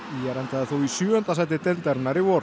ÍR endaði þó í sjöunda sæti deildarinnar í vor